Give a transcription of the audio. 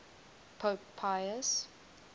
pope pius